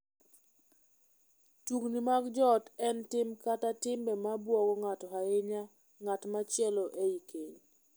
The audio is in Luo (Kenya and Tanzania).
Tungni mag joot en tim kata timbe ma buogo kata hinyo ng’at machielo ei keny.